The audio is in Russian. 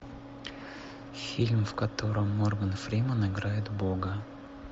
фильм в котором морган фримен играет бога